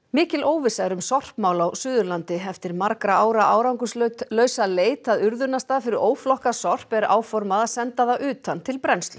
mikil óvissa er um sorpmál á Suðurlandi eftir margra ára árangurslausa leit að urðunarstað fyrir óflokkað sorp er áformað að senda það utan til brennslu